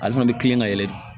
Ale fana bɛ kilen ka yɛlɛ de